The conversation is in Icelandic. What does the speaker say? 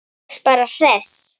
Þú varst bara hress.